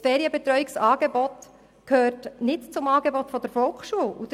Das Ferienbetreuungsangebot ist nicht Teil des Volksschulangebots.